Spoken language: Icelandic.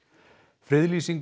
friðlýsing